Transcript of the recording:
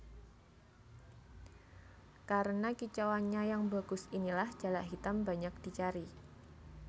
Karena kicauannya yang bagus inilah jalak hitam banyak dicari